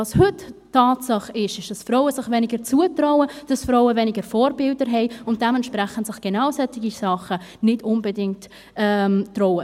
Was heute eine Tatsache ist, ist, dass Frauen sich weniger zutrauen, dass Frauen weniger Vorbilder haben und sich dementsprechend solche Sachen nicht unbedingt zutrauen.